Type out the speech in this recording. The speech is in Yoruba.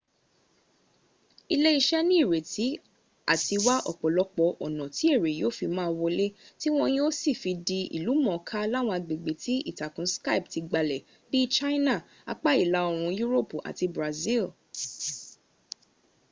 iléeṣẹ́ nírètí àti wá ọ̀pọ̀lọpọ̀ ọ̀nà tí èrè yóó fi má a wọlé tí wọ́ yóó sì fi di ìlú mọ̀ọ́ká láwọn agbègbè tí ìtàkùn skype ti gbalẹ̀ bí i china apá ìlà oòrùn europu àti brazil